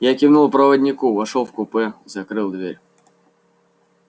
я кивнул проводнику вошёл в купе закрыл дверь